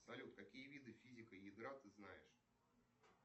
салют какие виды физика ядра ты знаешь